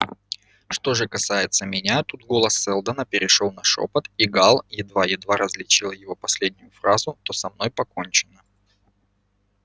что же касается меня тут голос сэлдона перешёл на шёпот и гаал едва-едва различил его последнюю фразу то со мной покончено